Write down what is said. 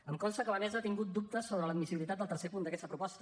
em consta que la mesa ha tingut dubtes sobre l’admissibilitat del tercer punt d’aquesta proposta